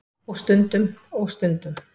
Og stundum. og stundum.